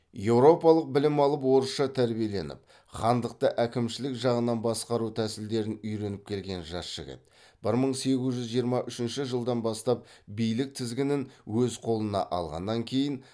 еуропалық білім алып орысша тәрбиеленіп хандықты әкімшілік жағынан басқару тәсілдерін үйреніп келген жас жігіт бір мың сегіз жүз жиырма үшінші жылдан бастап билік тізгінін өз қолына алғаннан кейін